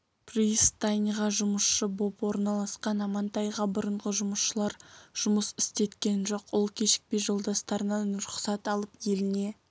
пристаньға жұмысшы боп орналасқан амантайға бұрынғы жұмысшылар жұмыс істеткен жоқ ол кешікпей жолдастарынан рұқсат алып еліне